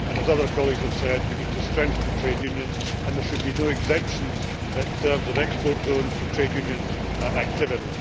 As other colleagues have said, we need to strengthen trade unions and there should be no exemptions in terms of export zones for trade union activity.